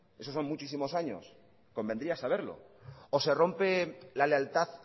esos son muchísimos años convendría saberlo o se rompe la lealtad